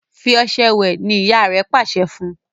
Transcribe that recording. fí ọṣẹ wẹ! ní ìyá rẹ pàṣẹ fún!